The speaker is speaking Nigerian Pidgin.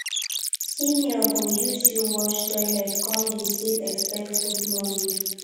senior go use you wash toilet come dey still expect good morning